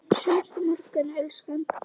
Sjáumst á morgun, elskan.